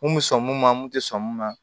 Mun bɛ sɔn mun ma mun tɛ sɔn mun ma